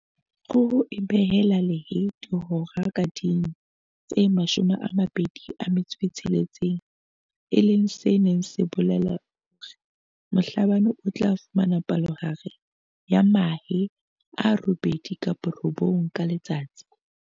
Kgoho e behela lehe dihora ka ding tse 26, e leng se neng se bolela hore Mhlabane o tla fumana palohare ya mahe a robedi kapa a robong ka letsatsi.